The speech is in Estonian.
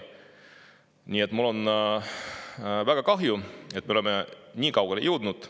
Nii et mul on väga kahju, et me oleme nii kaugele jõudnud.